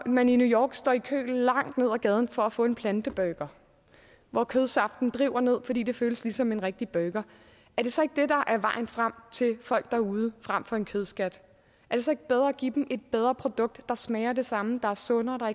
man i new york står i kø langt ned ad gaden for at få en planteburger hvor kødsaften driver ned fordi det føles som en rigtig burger er det så ikke det der er vejen frem til folk derude fremfor en kødskat er det så ikke bedre at give dem et bedre produkt der smager af det samme der er sundere og